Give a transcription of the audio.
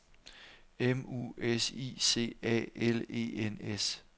M U S I C A L E N S